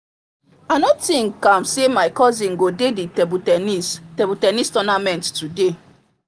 i no think am say my cousin go dey the table ten nis table ten nis tournament today